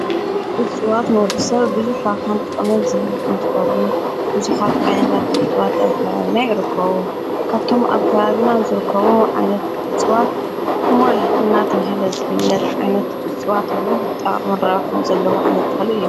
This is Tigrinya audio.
እፅዋት ንወዱ ሰብ ብዙሕ ረብሓን ጠቕመን ዝህብ እንትኸውን ብዙሓት ዓይነታት እፅዋት ኣብ ከባቢና ይይረከቡ ካብቶም ኣብ ካባብና ዙርከዎ ዓይነት እፅዋት ኩሞል እናተብሃለ ዘፍለት ዓይነት እፅዋት ብዙሕ ጥቕምን ረባኃን ዘለዎ ዓይነት ተኽልእ እዩ